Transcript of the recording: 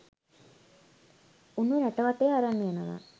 උන්ව රට වටේ අරන් යනවා.